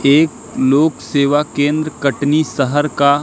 एक लोक सेवा केंद्र कटनी सहर का--